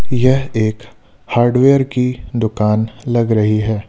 यह एक हार्डवेयर की दुकान लग रही है।